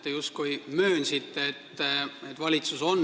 Te justkui möönsite, et valitsus on